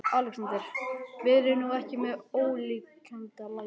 ALEXANDER: Verið nú ekki með ólíkindalæti.